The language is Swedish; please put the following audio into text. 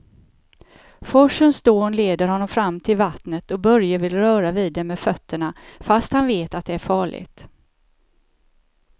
Forsens dån leder honom fram till vattnet och Börje vill röra vid det med fötterna, fast han vet att det är farligt.